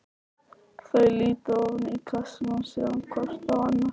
Þau líta ofan í kassann og síðan hvort á annað.